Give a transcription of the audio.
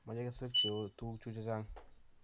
machei kesweek che oo , tuguk chu che chang'